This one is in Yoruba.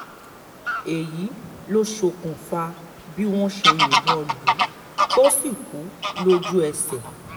èyí ló ṣokùnfà bí wọ́n ṣe yìnbọn lù ú tó sì kú lójú-ẹsẹ̀